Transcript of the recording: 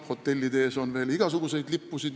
Hotellide ees on veel igasuguseid lippusid.